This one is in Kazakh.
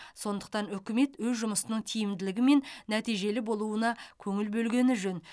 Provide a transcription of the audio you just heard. сондықтан үкімет өз жұмысының тиімділігі мен нәтижелі болуына көңіл бөлгені жөн